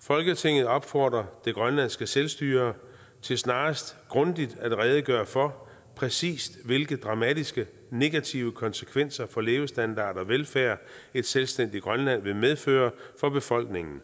folketinget opfordrer det grønlandske selvstyre til snarest grundigt at redegøre for præcist hvilke dramatiske negative konsekvenser for levestandard og velfærd et selvstændigt grønland vil medføre for befolkningen